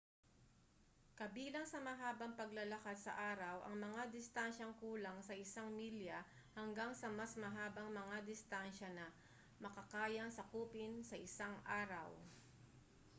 kabilang sa mahabang paglalakad sa araw ang mga distansyang kulang sa isang milya hanggang sa mas mahabang mga distansya na makakayang sakupin sa isang araw